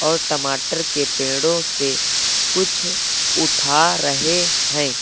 और टमाटर के पेड़ों से कुछ उठा रहे हैं।